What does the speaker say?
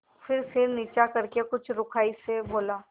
फिर नीचा सिर करके कुछ रूखाई से बोला